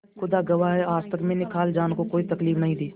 खुदा गवाह है आज तक मैंने खालाजान को कोई तकलीफ नहीं दी